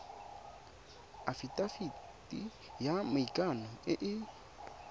afitafiti ya maikano e e